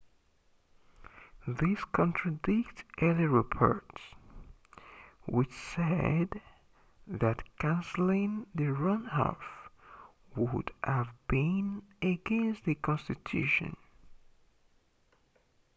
this contradicts earlier reports which said that cancelling the runoff would have been against the constitution